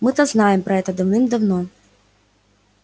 мы-то знаем про это давным-давно